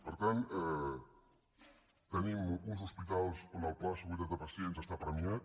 per tant tenim uns hospitals on el pla de seguretat de pacients està premiat